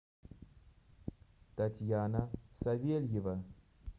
татьяна савельева